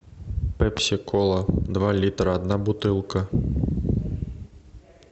пепси кола два литра одна бутылка